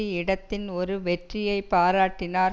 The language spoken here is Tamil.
இடதின் ஒரு வெற்றியை பாராட்டினார்